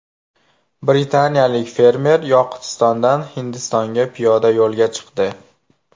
Britaniyalik fermer Yoqutistondan Hindistonga piyoda yo‘lga chiqdi.